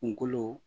Kungolo